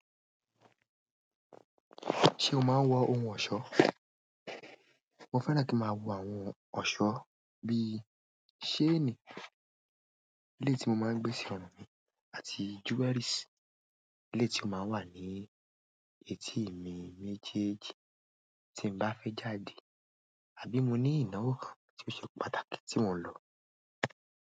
Ṣé o máa ń wọ ohun ọ̀ṣọ́? Mo fẹ́ràn kí máa wo àwọn ọ̀ṣọ́ bí i ṣéènì, ilé tí mo máa ń gbé sí ọ̀run àti jewelries. Eléyi tí ó máa ń wà ní etí mi méjèèjì tí n bá fẹ́ jáde àbí mo ní ìnáwó kan ti oṣe pàtàkì tí mò ń lọ.